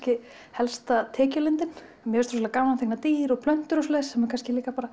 helsta tekjulindin mér finnst ofsalega gaman að teikna dýr og plöntur og svoleiðis sem er kannski líka